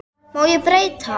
Má ég breyta?